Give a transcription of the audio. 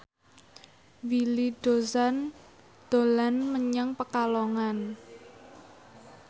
Willy Dozan dolan menyang Pekalongan